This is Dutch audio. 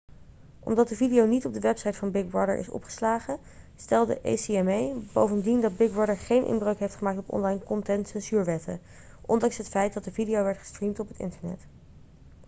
omdat de video niet op de website van big brother is opgeslagen stelde acma bovendien dat big brother geen inbreuk heeft gemaakt op online content censuurwetten ondanks het feit dat de video werd gestreamd op het internet